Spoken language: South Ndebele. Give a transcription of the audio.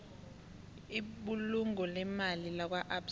ibulungo leemali lakwaabsa